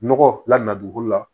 Nɔgɔ la na dugukolo la